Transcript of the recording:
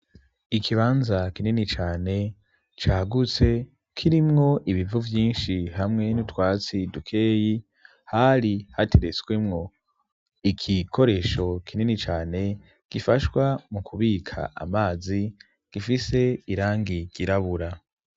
Ikibanza kinini cane cagutse kirimwo ibivu byinshi hamwe nutwatsi dukeyi hari hateretswemwo, ikikoresho kinini cane gifashwa mu kubika amazi gifise irangi girabura.